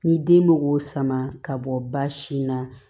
Ni den bɛ k'o sama ka bɔ ba sin na